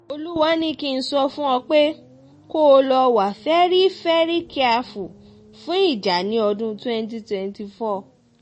olúwa ni kí n sọ fún ọ pé kó o lọ́ọ wá fẹ̀rí fẹ́rí kìàfù fún ìjà ní ọdún twenty twenty four